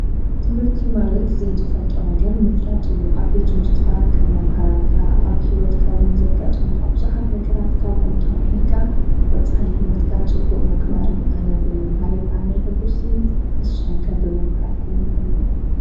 ትምህርቲዩ ማለት ዘይትፈልጦ ነገር ምፍላጥዩ ኣብ ቤት ምርትኻ ካም መምህራንካ ኣብ ሕይወትካውን ዘጋጥሙ ሃብዙኃት መገራት ካብኦም ተማሂርካ ብፈፃሕሊ ሕይወትካ ጽቡቕ መግባርዩ ኣነ ብምምሃርብ ዳሜ ሕጉሲ እስኹምከ ብምምሃርኩም ኸመይኹም።